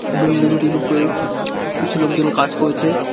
বিল্ডিংটির উপরে কিছু লোকজন কাজ করছে।